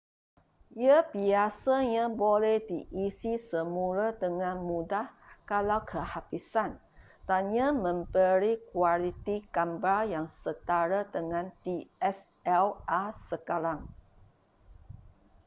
ia biasanya boleh diisi semula dengan mudah kalau kehabisan dan ia memberi kualiti gambar yang setara dengan dslr sekarang